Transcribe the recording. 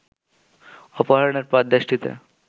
অপহরণের পর দেশটিতে